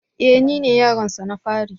E! Nine yaronsa na fari.